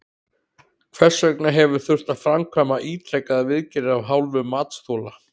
Hvers vegna hefur þurft að framkvæma ítrekaðar viðgerðir af hálfu matsþola?